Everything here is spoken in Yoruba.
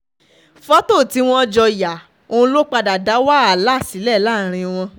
fọ́tò tí wọ́n jọ yà ọ̀hún ló padà dá wàhálà sílẹ̀ láàrin wọn